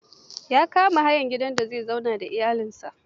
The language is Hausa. ya kama hayar gidan da zai zauna da iyalinsa.